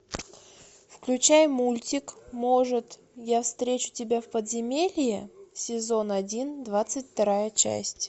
включай мультик может я встречу тебя в подземелье сезон один двадцать вторая часть